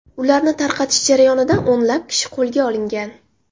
Ularni tarqatish jarayonida o‘nlab kishi qo‘lga olingan.